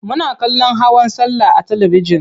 Muna kallon hawan sallah a talibijin.